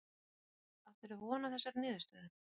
Þóra Kristín: Áttir þú von á þessari niðurstöðu?